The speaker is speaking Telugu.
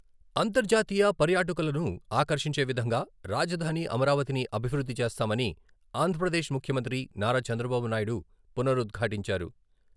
అంతర్జాతీయ పర్యాటలకులను ఆకర్షించే విధంగా రాజధాని అమరావతిని అభివృద్ధి చేస్తామని ఆంధ్రప్రదేశ్ ముఖ్యమంత్రి నారా చంద్రబాబునాయుడు పునరుద్ఘాటించారు.